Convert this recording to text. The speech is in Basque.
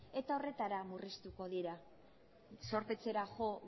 eta horretara murriztuko dira zorpetzera jo